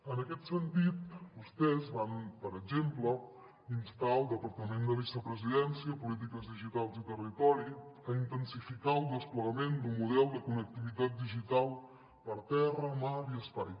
en aquest sentit vostès van per exemple instar el departament de vicepresidència de polítiques digitals i territori a intensificar el desplegament d’un model de connectivitat digital per terra mar i espai